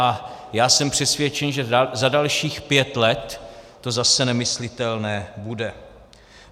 A já jsem přesvědčen, že za dalších pět let to zase nemyslitelné bude.